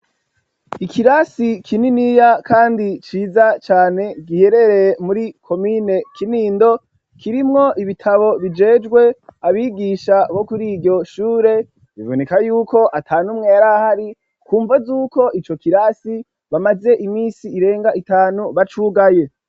Ikirasi kininiya kandi ciza cane, giherereye muri komine Kinindo, kirimwo ibitabo bijejwe abigisha bo kur'iryo shure, biboneka yuko atan'umwe yari ahari, kumvo z'uko ico kirasi bamaze iminsi irenga itanu bacugaye.